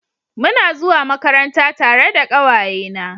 Muna zuwa Makaranta tare da kawaye na